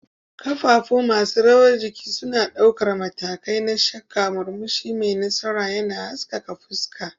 Kafafu masu rawar jiki suna ɗaukar matakai na shakka, murmushi mai nasara yana haskaka fuska